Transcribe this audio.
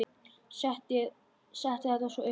Setti það svo upp aftur.